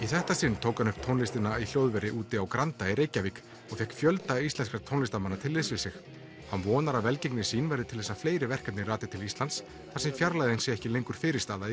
þetta sinn tók hann upp tónlistina í hljóðveri úti á Granda í Reykjavík og fékk fjölda íslenskra tónlistarmanna til liðs við sig hann vonar að velgengni sín verði til þess að fleiri verkefni rati til Íslands þar sem fjarlægðin sé ekki lengur fyrirstaða í